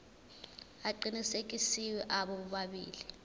aqinisekisiwe abo bobabili